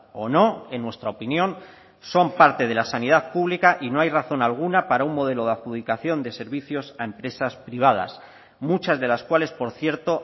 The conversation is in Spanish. o no en nuestra opinión son parte de la sanidad pública y no hay razón alguna para un modelo de adjudicación de servicios a empresas privadas muchas de las cuales por cierto